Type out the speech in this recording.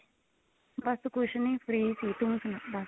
ਬਸ ਕੁੱਝ ਨਹੀਂ free ਸੀ ਤੂੰ ਸਣਾ ਦੱਸ